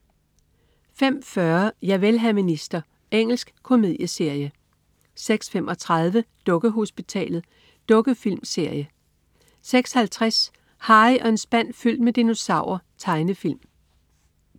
05.40 Javel, hr. minister. Engelsk komedieserie 06.35 Dukkehospitalet. Dukkefilmserie 06.50 Harry og en spand fyldt med dinosaurer. Tegnefilm